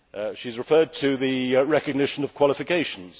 She has referred to the recognition of qualifications.